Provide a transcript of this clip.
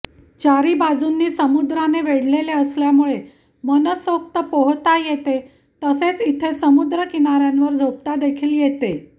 चारी बाजूंनी समुद्राने वेढलेले असल्यामुळे मनसोक्त पोहता येते तसेच इथे समुद्रकिनाऱ्यांवर झोपता देखील येते